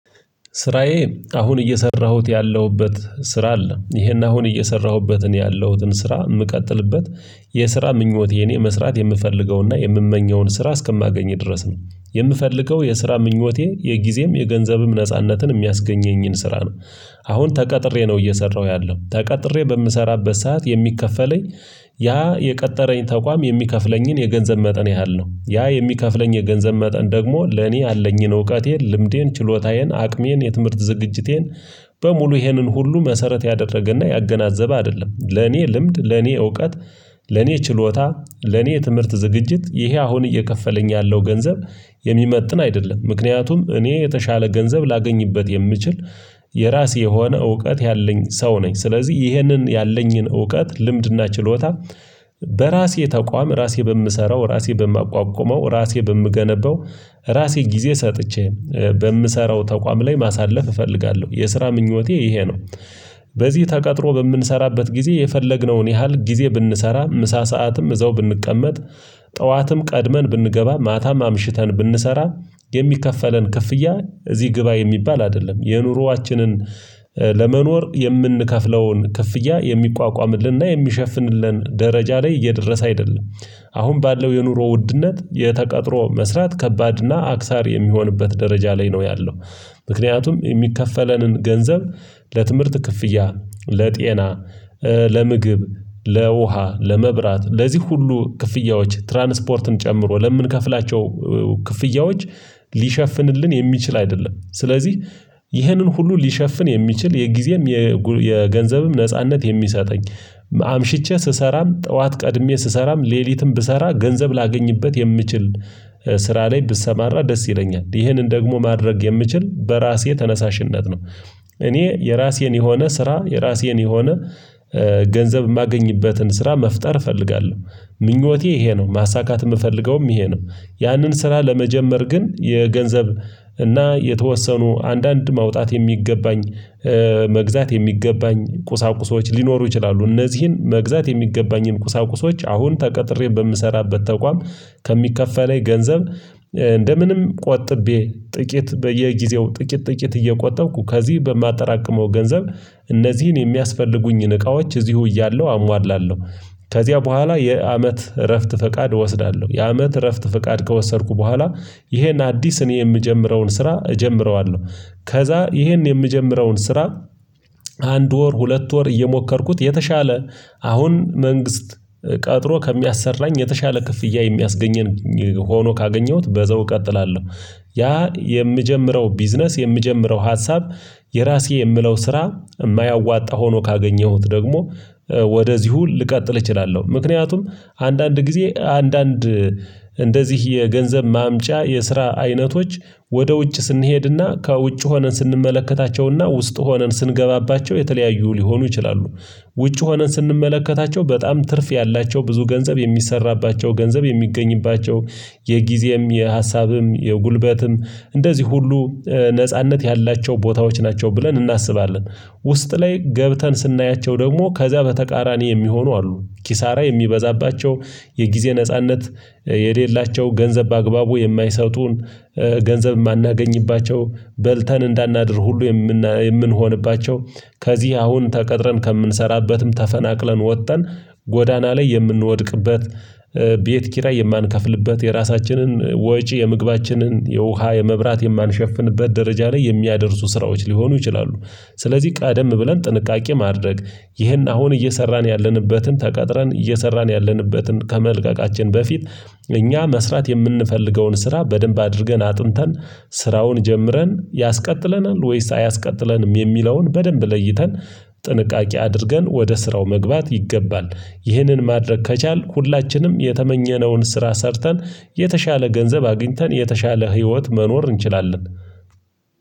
ስራዬ አሁን እየሰራሁት ያለሁበት ስራ አለ ይሄን አሁን እየሰራሁበትን ያለሁትን ስራ የምቀጥልበት የስራ ምኞቴ እኔ መስራት የምፈልገውና የምመኘውን ስራ እስከማገኝ ድረስ ነው የምፈልገው የስራ ምኞቴ የጊዜም የገንዘብም ነጻነትን የሚያስገኘኝን ስራ ነው። አሁን ተቀጥሬ ነው እየሰራሁ ያለው ተቀጥሬ በምሰራበት ሰዓት የሚከፈለኝ ያ የቀጠረኝ ተቋም የሚከፍለኝን የገንዘብ መጠን ያህል ነው ያ የሚከፍለኝ የገንዘብ መጠን ደግሞ ለኔ ያለኝን እውቀቴን ልምዴን ችሎታዬን አቅሜን የትምህርት ዝግጅቴን በሙሉ ይህንን ሁሉ መሰረት ያደረገና ያገናዘበ አይደለም ለኔ ልምድ ለኔ እውቀት ለኔ ችሎታ ለኔ ትምህርት ዝግጅት ይሄ አሁን እየከፈለኝ ያለው ገንዘብ። የሚመጥን አይደለም ምክንያቱም እኔ የተሻለ ገንዘብ ላገኝበት የምችል የራሴ የሆነ እውቀት ያለኝ ሰው ነኝ። ስለዚህ ይህንን ያለኝን እውቀት ልምድና ችሎታ በራሴ ተቋም ራሴ በምሰራው ራሴ በማቋቁመው ራሴ በምገነባው ራሴ ጊዜ ሰጥቼ በምሰራው ተቋም ላይ ማሳለፍ እፈልጋለሁ የስራ ምኞቴ ይሄ ነው። በዚህ ተቀጥሮ በምንሰራበት ጊዜ የፈለግነውን ያህል ጊዜ ብንሰራ ምሳ ሰዓትም እዛው ብንቀመጥ ጠዋትም ቀድመን ብንገባ ማታም አምሽተን ብንሰራ የሚከፈለን ክፍያ እዚህ ግባ የሚባል አይደለም የኑሮአችንን ለመኖር የምንከፍለውን ክፍያ የሚቋቋምልንና የሚሸፍንልን ደረጃ ላይ እየደረሰ አይደለም። አሁን ባለው የኑሮ ውድነት የተቀጥሮ መስራት ከባድና አክሳሪ የሚሆንበት ደረጃ ላይ ነው ያለው። ምክንያቱም የሚከፈለንን ገንዘብ ለትምህርት ክፍያ ለጤና ለምግብ ለውሃ ለመብራት ለዚህ ሁሉ ክፍያዎች ትራንስፖርትን ጨምሮ ለምንከፍላቸው ክፍያዎች ሊሸፍንልን የሚችል አይደለም። ስለዚህ ይህንን ሁሉ ሊሸፍን የሚችል የጊዜም የገንዘብም ነጻነት የሚሰጠኝ አምሽቼ ስሰራም ጠዋት ቀድሜ ስሰራም ሌሊትም ብሰራ ገንዘብ ላገኝበት የምችል ስራ ላይ ብሰማራ ደስ ይለኛል ይህንን ደግሞ ማድረግ የምችል በራሴ ተነሳሽነት ነው። እኔ የራሴን የሆነ ስራ የራሴን የሆነ ገንዘብ የማገኝበትን ስራ መፍጠር እፈልጋለሁ ምኞቴ ይሄ ነው ማሳካት የምፈልገውም ይሄ ነው። ያንን ስራ ለመጀመር ግን የገንዘብ እና የተወሰኑ አንዳንድ ማውጣት የሚገባኝ መግዛት የሚገባኝ ቁሳቁሶች ሊኖሩ ይችላሉ። እነዚህን መግዛት የሚገባኝን ቁሳቁሶች አሁን ተቀጥሬ በምሰራበት ተቋም ከሚከፈለኝ ገንዘብ እንደምንም ቆጥቤ ጥቂት በየጊዜው ጥቂት ጥቂት እየቆጠብኩ ከዚህ በማጠራቅመው ገንዘብ እነዚህን የሚያስፈልጉኝን እቃዎች እዚሁ እያለሁ አሟላለሁ። ከዚያ በኋላ የአመት እረፍት ፈቃድ እወስዳለሁ የአመት እረፍት ፈቃድ ከወሰድኩ በኋላ ይሄን አዲስ እኔ የምጀምረውን ስራ እጀምረዋለሁ። ከዛ ይሄን የምጀምረውን ስራ አንድ ወር ሁለት ወር እየሞከርኩት የተሻለ አሁን መንግስት ቀጥሮ ከሚያሰራኝ የተሻለ ክፍያ የሚያስገኘኝ ሆኖ ካገኘሁት በዛው እቀጥላለሁ። ያ የምጀምረው ቢዝነስ የምጀምረው ሀሳብ የራሴ የምለው ስራ የማያዋጣ ሆኖ ካገኘሁት ደግሞ ወደዚሁ ልቀጥል እችላለሁ። ምክንያቱም አንዳንድ ጊዜ አንዳንድ እንደዚህ የገንዘብ ማምጫ የስራ አይነቶች ወደ ውጭ ስንሄድና ከውጭ ሆነን ስንመለከታቸውና ውስጥ ሆነን ስንገባባቸው የተለያዩ ሊሆኑ ይችላሉ። ውጪ ሆነን ስንመለከታቸው በጣም ትርፍ ያላቸው ብዙ ገንዘብ የሚሰራባቸው ገንዘብ የሚገኝባቸው የጊዜም የሀሳብም የጉልበትም እንደዚህ ሁሉ ነጻነት ያላቸው ቦታዎች ናቸው ብለን እናስባለን። ውስጥ ላይ ገብተን ስናያቸው ደግሞ ከዚያ በተቃራኒ የሚሆኑ አሉ ኪሳራ የሚበዛባቸው የጊዜ ነጻነት የሌላቸው ገንዘብ በአግባቡ የማይሰጡን ገንዘብ የማናገኝባቸው በልተን እንዳናድር ሁሉ የምንሆንባቸው ከዚህ አሁን ተቀጥረን ከምንሰራበትም ተፈናቅለን ወጥተን ጎዳና ላይ የምንወድቅበት ቤት ኪራይ የማንከፍልበት የራሳችንን ወጪ የምግባችንን የውሃ የመብራት የማንሸፍንበት ደረጃ ላይ የሚያደርሱ ስራዎች ሊሆኑ ይችላሉ። ስለዚህ ቀደም ብለን ጥንቃቄ ማድረግ ይህን አሁን እየሰራን ያለንበትን ተቀጥረን እየሰራን ያለንበትን ከመልቀቃችን በፊት እኛ መስራት የምንፈልገውን ስራ በደንብ አድርገን አጥንተን ስራውን ጀምረን ያስቀጥለናል ወይስ አያስቀጥለንም የሚለውን በደንብ ለይተን ጥንቃቄ አድርገን ወደ ስራው መግባት ይገባል። ይህንን ማድረግ ከቻልን ሁላችንም የተመኘነውን ስራ ሰርተን የተሻለ ገንዘብ አግኝተን የተሻለ ህይወት መኖር እንችላለን